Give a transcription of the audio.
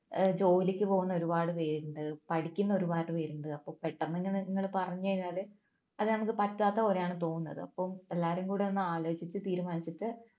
ഏർ ജോലിക്ക് പോകുന്ന ഒരുപാട് പേരുണ്ട് പഠിക്കുന്ന ഒരുപാട് പേരുണ്ട് അപ്പം പെട്ടെന്ന് ഇങ്ങനെ നിങ്ങള് പറഞ്ഞു കഴിഞ്ഞാല് അത് നമുക്ക് പറ്റാത്ത പോലെയാണ് തോന്നുന്നത് അപ്പോ എല്ലാരും കൂടി ഒന്ന് ആലോചിച്ചിട്ട് തീരുമാനിച്ചിട്ട്